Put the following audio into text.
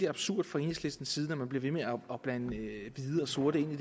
absurd fra enhedslistens side når man bliver ved med at blande hvide og sorte ind i